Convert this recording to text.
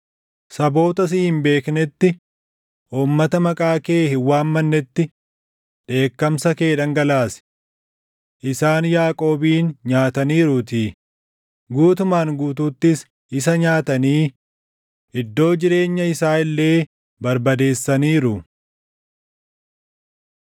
Saboota si hin beeknetti uummata maqaa kee hin waammannetti dheekkamsa kee dhangalaasi. Isaan Yaaqoobin nyaataniiruutii; guutumaan guutuuttis isa nyaatanii; iddoo jireenya isaa illee barbadeessaniiru.